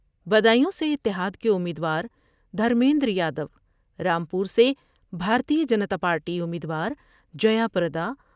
بدایوں سے اتحاد کے امید وار دھرمیندر یادو ، رام پور سے بھارتیہ جنتا پارٹی امیدوار جیا پردا